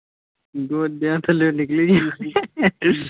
ਗੋਡਿਆਂ ਥੱਲੋਂ ਨਿਕਲੀ ਜਾਣਦੀ ।